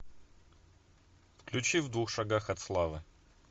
включи в двух шагах от славы